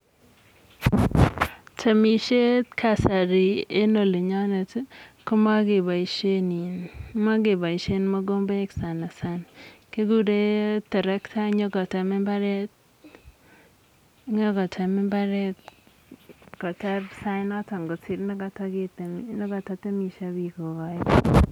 Temisiet kasari en olinyonet komokeboisie mokomboik sana sana kikure toroktet nyikotem mbaret, nyikotem mbaret kotar sait notok nekato temisie bik kokaigei